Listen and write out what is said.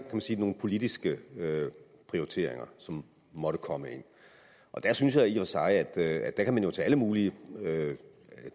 man sige nogle politiske prioriteringer som måtte komme ind der synes jeg i og for sig at man kunne tage alle mulige